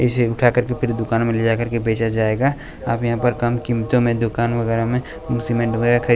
इसे उठा कर के फिर दुकान में ले जाकर के बेचा जाएगा आप यहाँ पर कम कीमतों में दुकान वगैरह में सीमेंट वगैरह खरी --